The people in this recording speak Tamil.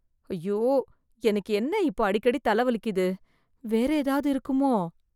ஐயோ! எனக்கு என்ன இப்ப அடிக்கடி தலை வலிக்குது வேற ஏதாவது இருக்குமோ?